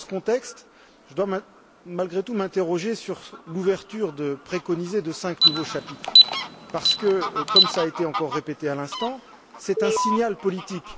Dans ce contexte, je dois malgré tout m'interroger sur l'ouverture préconisée de cinq nouveaux chapitres, parce que, comme cela a été encore répété à l'instant, c'est un signal politique.